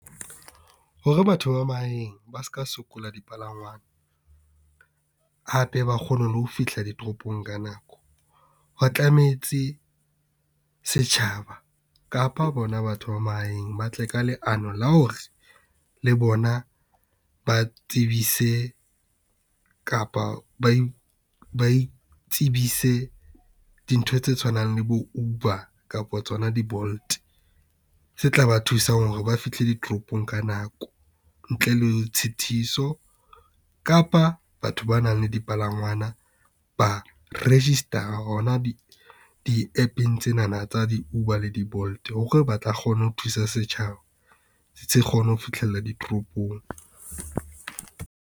Hore batho ba mahaeng ba ska sokola dipalangwang, hape ba kgone le ho fihla ditoropong ka nako, ho tlametse setjhaba kapa bona batho ba mahaeng ba tle ka leano la hore le bona ba tsebise kapa ba itsebise dintho tse tshwanang le bo Uber, kapa tsona di-Bolt, tse tla ba thusang hore ba fihle ditropong ka nako ntle le tshitiso. Kapa batho ba nang le dipalangwana ba register hona di App-eng tsenana tsa di-Uber le di-Bolt, hore ba tla kgona ho thusa setjhaba se kgone ho fihlella ditoropong.